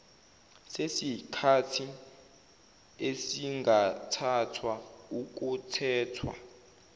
sesikhathi esingathathwa ukuthethwa